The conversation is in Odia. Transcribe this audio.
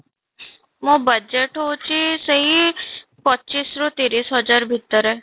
ମୋ budge ହଉଛି ସେଇ ପଚିଶ ରୁ ତିରିଶ ହଜାର ଭିତରେ